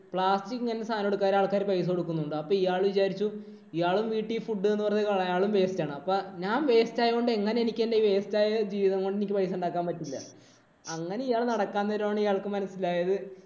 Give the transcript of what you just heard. plastic ഇങ്ങനെ സാധനം എടുക്കാന്‍ നേരം ആള്‍ക്കാര് പൈസ കൊടുക്കുന്നുണ്ട്. അപ്പൊ ഇയാള് വിചാരിച്ചു ഇയാള് വീട്ടീ അയാളും waste ആണ്. അപ്പൊ ഞാന്‍ waste ആയോണ്ട് എങ്ങനെ എനിക്കെന്‍റെ waste ആയ ജീവിതം കൊണ്ട് എനിക്ക് പൈസ ഉണ്ടാക്കാന്‍ പറ്റില്ല. അങ്ങനെ ഇയാള് നടക്കാന്‍ നേരം ആണ് ഇയാള്‍ക്ക് മനസിലായത്